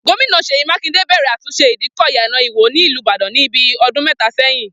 Gómìnà Ṣèyí Mákìndé bẹ̀rẹ̀ àtúnṣe ìdíkọ̀ Iyana Ìwó ní ìlú Ìbàdàn ni bí ọdún mẹ́ta sẹ́yìn